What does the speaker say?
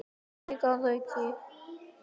Mig að auki.